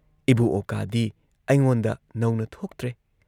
ꯏꯕꯨ ꯑꯣꯀꯥꯗꯤ ꯑꯩꯉꯣꯟꯗ ꯅꯧꯅ ꯊꯣꯛꯇ꯭ꯔꯦ ꯫